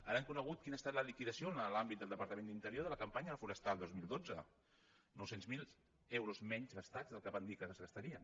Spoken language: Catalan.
ara hem conegut quina ha estat la liquidació en l’àmbit del departa·ment d’interior de la campanya forestal dos mil dotze nou cents miler euros menys gastats del que van dir que es gastarien